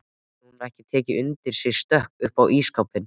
Hafði hún ekki tekið undir sig stökk upp á ísskápinn!